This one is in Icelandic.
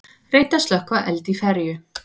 Reynt að slökkva eld í ferju